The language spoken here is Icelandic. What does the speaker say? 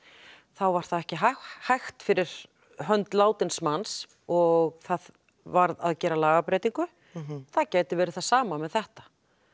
þá var það ekki hægt hægt fyrir hönd látins manns og það varð að gera lagabreytingu það gæti verið það sama með þetta